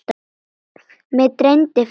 Mig dreymdi fyrir því.